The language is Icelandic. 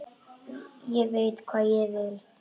Ég veit hvað ég vil!